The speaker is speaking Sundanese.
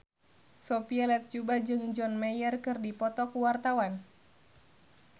Sophia Latjuba jeung John Mayer keur dipoto ku wartawan